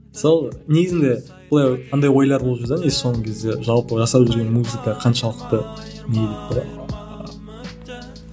сол негізінде былай андай ойлар болып жүр де негізі соңғы кезде жалпы жасап жүрген музыка қаншалықты